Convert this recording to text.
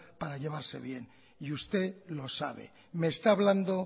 para llevarse bien y usted lo sabe me está hablando